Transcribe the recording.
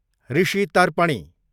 Rishi Tarpani